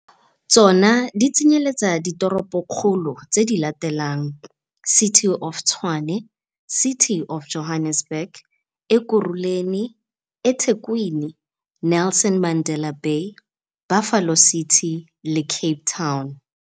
Tsona di tsenyeletsa ditoropokgolo tse di latelang - City of Tshwane, City of Johannesburg, Ekurhuleni, eThekwini, Nelson Mandela Bay, Buffalo City, le Cape Town.